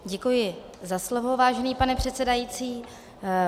Děkuji za slovo, vážený pane předsedající.